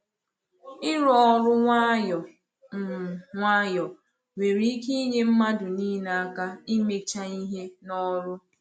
Ịrụ ọrụ nwayọ um nwayọ nwere ike inyé mmadụ niile aka imecha ihe n’ọrụ.